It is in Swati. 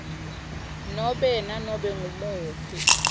nobe nanobe ngumuphi